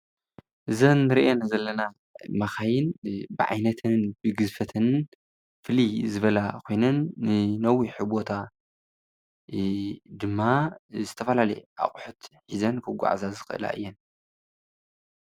እዘንንሪኣን ዘለና መኻይ ብዓይነተንን ብግዝፈተንን ፈልይ ዝበላ ኮይነን ንነዊሕ ቦታ ድማ ዝተፈላለየ ኣቑሑት ሒዘን ክጓዓዛ ዝኽእላ እየን።